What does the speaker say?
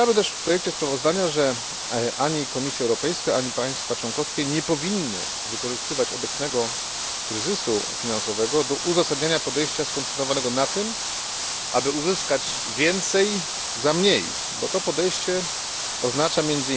W projekcie sprawozdania podkreślamy też, że ani Komisja Europejska, ani państwa członkowskie nie powinny wykorzystywać obecnego kryzysu finansowego do uzasadniania podejścia skoncentrowanego na tym, aby uzyskać więcej za mniej, gdyż takie podejście oznacza